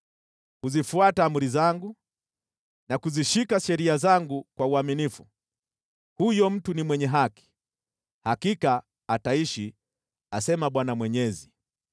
Huzifuata amri zangu na kuzishika sheria zangu kwa uaminifu. Huyo mtu ni mwenye haki; hakika ataishi, asema Bwana Mwenyezi.